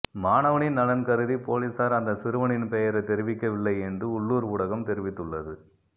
மாணவனின் நலன் கருதி பொலிசார் அந்த சிறுவனின் பெயரை தெரிவிக்கவில்லை என்று உள்ளூர் ஊடகம் தெரிவித்துள்ளது